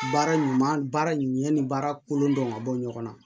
Baara ɲuman baara ɲɛ ni baara kolon dɔn ka bɔ ɲɔgɔn na